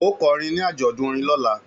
Ó kọrin ní àjọ̀dún orin lọ́la!